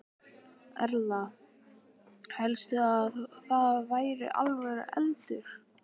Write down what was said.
Erla: Hélstu að það væri alvöru eldur?